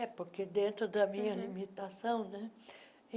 É, porque dentro da minha limitação, né?